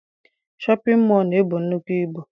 Shọpịn mọọ na-ebu nnukwu ibu.